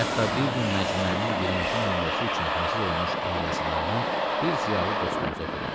Hətta bir gün məcmuənin birinci nömrəsi üçün hazır olmuş əlyazmalarını bir ziyalı dostumuza oxudum.